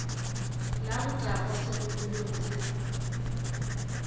la botagwa segologolo se re